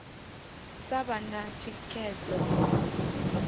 sa vha na thikhedzo ya